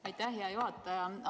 Aitäh, hea juhataja!